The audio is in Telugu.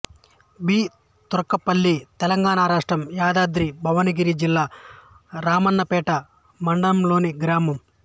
బి తుర్కపల్లి తెలంగాణ రాష్ట్రం యాదాద్రి భువనగిరి జిల్లా రామన్నపేట మండలంలోని గ్రామం